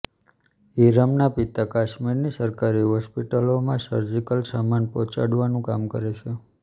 ઈરમનાં પિતા કાશ્મીરની સરકારી હોસ્પિટલોમાં સર્જિકલ સામાનો પહોંચાડવાનું કામ કરે છે